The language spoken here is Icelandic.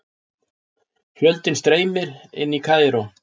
Fjöldinn streymir inn í Kaíró